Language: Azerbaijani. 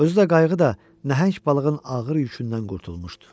Özü də qayıqı da nəhəng balığın ağır yükündən qurtulmuşdu.